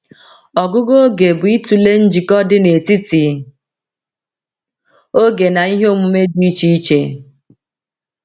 Ọgụgụ oge bụ ịtụle njikọ dị n’etiti oge na ihe omume dị iche iche.